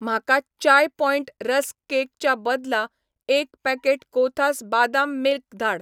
म्हाका Chai Point rusk cake च्या बदला एक पॅकेट कोथास बादाम मिल्क धाड